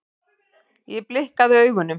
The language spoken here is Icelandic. Ég blikkaði augunum.